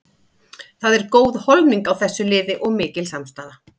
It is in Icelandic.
Það er góð holning á þessu liði og mikil samstaða.